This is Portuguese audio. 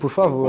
Por favor.